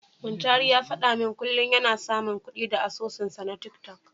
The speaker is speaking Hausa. Muntari ya faɗa min kullum yana samun kuɗi da asusunsa na tiktok.